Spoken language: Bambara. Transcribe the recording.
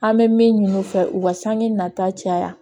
An bɛ min ɲini u fɛ u ka sanji nata caya